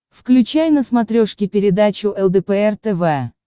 включай на смотрешке передачу лдпр тв